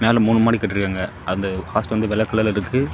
மேல மூணு மாடி கட்டியிருக்காங்க அந்த ஹாஸ்டல் வந்து வெள்ளை கலர்ல இருக்கு.